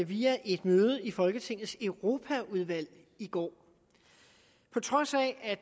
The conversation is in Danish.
via et møde i folketingets europaudvalg i går på trods af at